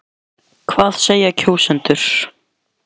En hvað segja kjósendur?